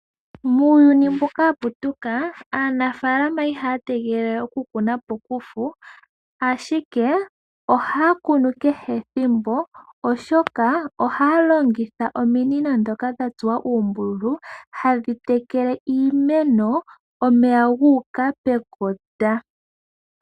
Muuyuni mbuka wa putuka, aanafaalama iha ya tegelele oku kuna pokufu ashike, ohaa kunu kehe ethimbo, oshoka ohaa longitha ominino ndhoka dha tsuwa uumbululu, hadhi tekele iimeno. Omeya guuka pekota.